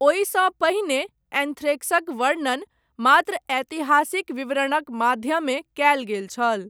ओहिसँ पहिने, एन्थ्रेक्सक वर्णन, मात्र ऐतिहासिक विवरणक माध्यमे, कयल गेल छल।